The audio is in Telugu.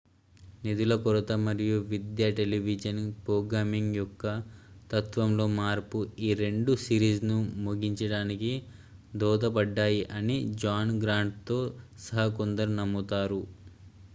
నిధుల కొరత మరియు విద్యా టెలివిజన్ ప్రోగ్రామింగ్ యొక్క తత్వంలో మార్పు ఈ రెండూ సిరీస్ను ముగించడానికి దోహదపడ్డాయి అని జాన్ గ్రాంట్తో సహా కొందరు నమ్ముతారు